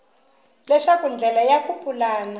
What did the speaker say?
leswaku ndlela ya ku pulana